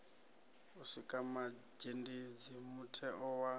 u sikwa mazhendedzi mutheo wa